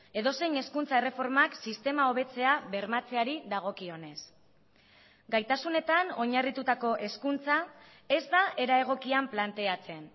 edozein hezkuntza erreformak sistema hobetzea bermatzeari dagokionez gaitasunetan oinarritutako hezkuntza ez da era egokian planteatzen